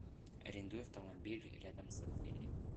арендуй автомобиль рядом с отелем